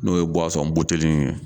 N'o ye buteli in ye.